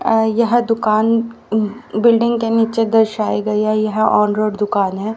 यह दुकान ऊंह बिल्डिंग के नीचे दर्शाई गई है यह ऑन रोड दुकान है।